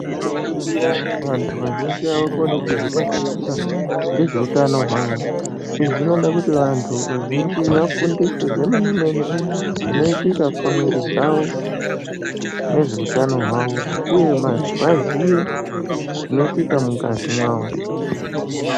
Tikaringira vantu vazhinji avakoni kuzvibatikira ngezveutano hwavo .Izvi zvinoda kuti vantu vazhinji vafundiswe zvemene -mene, zvinoitika pamwiri dzavo nezveutano hwavo ,uye vaziye zvinoitika mungazi mavo.